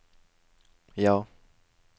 ja